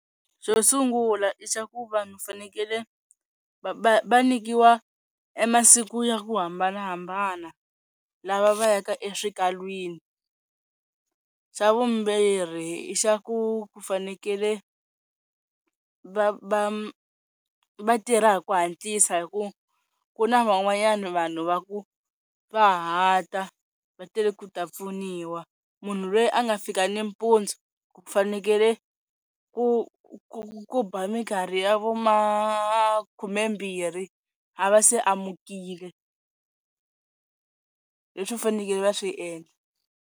Xo sungula i xa ku vanhu fanekele va va nyikiwa e masiku ya ku hambanahambana lava va yaka eswikalwini, xa vumbhiri i xa ku ku fanekele va va va tirha hi ku hatlisa hi ku ku na van'wanyana vanhu va ku va hata va tele ku ta pfuniwa, munhu loyi a nga fika nimpundzu ku fanekele ku ku ku ba minkarhi ya vo ma khumembirhi a va se amukile Leswi fanekele va swi endla.